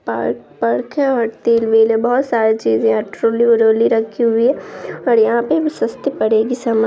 park पर्क है और तेल मिल है बहुत सारी चीजे रखी हुई है और यहाँ पे सस्ते पड़ेगा समान--